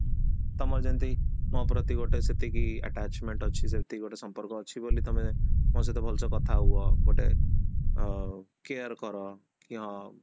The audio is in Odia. ତାମର ଯେମିତି ମୋ ପ୍ରତି ଯେତିକି attachment ଅଛି ସେତିକି ଗୋଟେ ସମ୍ପର୍କ ଅଛି ବୋଲି ତମେ ମୋ ସହିତ ଭଲସେ କଥା ହୁଅ ଗୋଟେ ଅ care କର କି ହଁ